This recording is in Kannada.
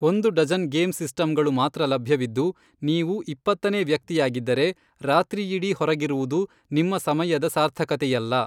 ಒಂದು ಡಜನ್ ಗೇಂ ಸಿಸ್ಟಂಗಳು ಮಾತ್ರ ಲಭ್ಯವಿದ್ದು, ನೀವು ಇಪ್ಪತ್ತನೇ ವ್ಯಕ್ತಿಯಾಗಿದ್ದರೆ, ರಾತ್ರಿಯಿಡೀ ಹೊರಗಿರುವುದು ನಿಮ್ಮ ಸಮಯದ ಸಾರ್ಥಕತೆಯಲ್ಲ.